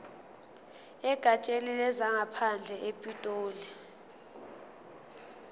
egatsheni lezangaphandle epitoli